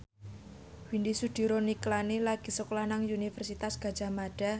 Widy Soediro Nichlany lagi sekolah nang Universitas Gadjah Mada